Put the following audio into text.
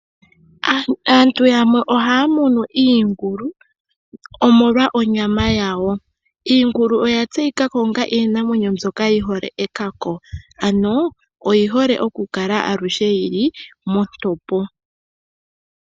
Aantu yamwe ohaya munu iingulu omolwa onyama yawo. Iingulu oya talika ko onga iinamwenyo mbyoka yi hole ekako, ano oyi hole aluhe okukala yi li montopo.